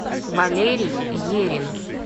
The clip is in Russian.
валерий ерин